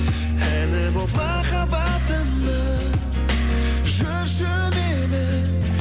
әні болып махаббатымның жүрші менің